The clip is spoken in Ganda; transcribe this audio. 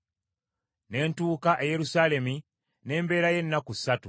Ne ntuuka e Yerusaalemi, ne mbeerayo ennaku ssatu,